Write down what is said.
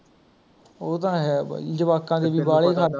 ਉਹ ਤਾਂ ਹੈ ਬਾਈ ਜਵਾਕਾਂ ਦੇ ਵੀ ਬਾਲੇ ਖਰਚੇ